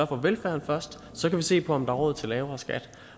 for velfærden først så kan vi se på om der er råd til lavere skatter